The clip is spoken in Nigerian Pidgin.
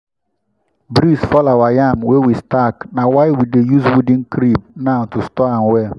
breeze fall our yam wey we stack na why we dey use wooden crib now to store am well.